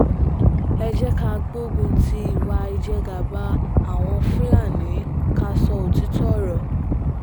ẹ jẹ́ ká gbógun ti ìwà ìjẹgàba àwọn fúlàní ká sọ òtítọ́ ọ̀rọ̀